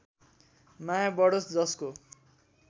माया बढोस् जसको